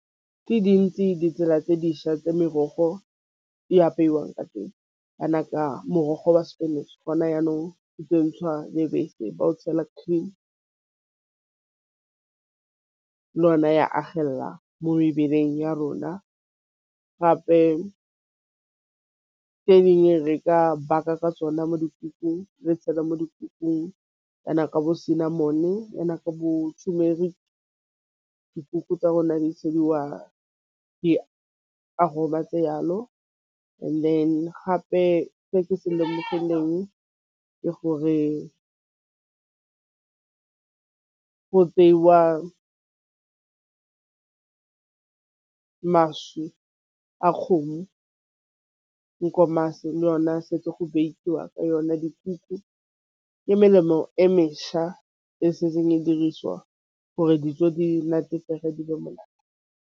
Dintsi ditsela tse dišwa tse merogo e apeiwang ka teng, jana ka morogo wa spinach ntšhidiwa lebese ba o tšhela cream lona ya agella mo mebeleng ya rona. Gape ka dingwe re ka baka ka tsona mo dikukung re tšhela mo ditoropong kana ka bo sena cinnamon turmeric dikuku tsa rona di tšhediwa di aroma tse gape se ke se lemogeng ke gore go tseiwa maswi a kgomo nkomasi le yona setse go bekiwa ka yona dikuku ke melemo e mešwa e setseng e dirisiwa gore monate.